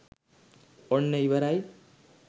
ඔන්න ඉවරයි